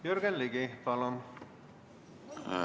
Jürgen Ligi, palun!